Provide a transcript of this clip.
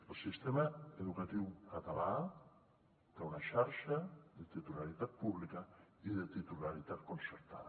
el sistema educatiu català té una xarxa de titularitat pública i de titularitat concertada